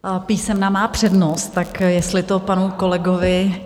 Písemná má přednost, tak jestli to panu kolegovi...